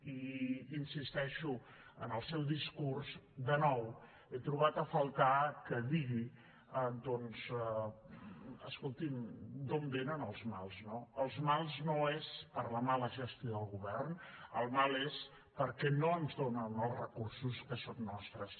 i hi insisteixo en el seu discurs de nou he trobat a faltar que digui doncs escolti’m d’on vénen els mals no els mals no són per la mala gestió del govern el mal és perquè no ens donen els recursos que són nostres